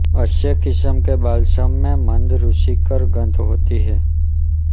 अच्छे किस्म के बाल्सम में मंद रुचिकर गंध होती है